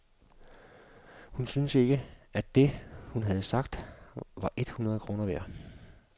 Hun syntes ikke, at det, hun havde sagt, var et hundrede kroner værd.